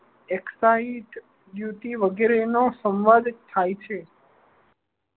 Axis duty વગેરે નો સંવાદ થાય છે.